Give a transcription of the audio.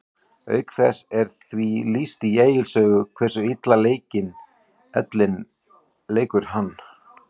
Auk þess er því lýst í Egils sögu hversu illa ellin leikur hann.